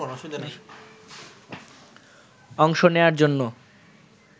অংশ নেয়ার জন্য